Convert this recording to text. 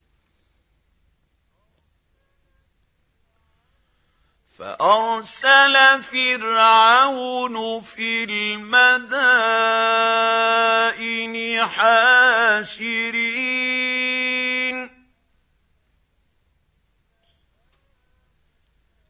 فَأَرْسَلَ فِرْعَوْنُ فِي الْمَدَائِنِ حَاشِرِينَ